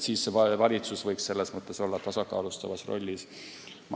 Valitsus võiks selles mõttes olla tasakaalustavas rollis.